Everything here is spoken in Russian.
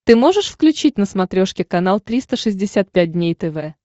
ты можешь включить на смотрешке канал триста шестьдесят пять дней тв